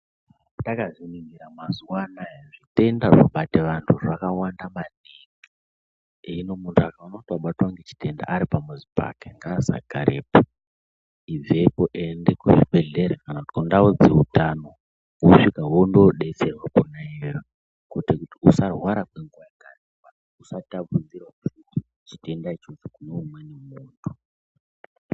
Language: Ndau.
Takazviningira mazuwa anaya zvitenda zvobate vanthu zvakawanda maningi hino munthu akaona kuti wabatwa ngechitenda ari pamuzi pake ngaasagarepo ibvepo ende kuzvibhedhlera kana kundau dzeutano wosvika wondoodetserwa kona iyoyo kuite kuti usarwara kwenguwa yakareba usatapudzirawo chitenda ichocho kune umweni munthu.